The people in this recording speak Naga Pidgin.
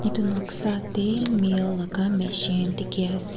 etu noksa teh male laga machine dikhi ase.